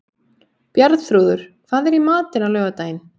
Bjarnþrúður, hvað er í matinn á laugardaginn?